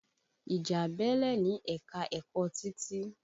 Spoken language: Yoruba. Ìjà bẹ́lẹ̀ ní ẹ̀ka-ẹ̀kọ́ Títí.